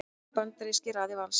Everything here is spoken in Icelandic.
Önnur bandarísk í raðir Vals